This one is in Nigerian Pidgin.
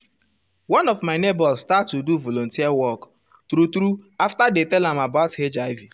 one of my neighbors start do volunteer work true true after dey tell am about hiv.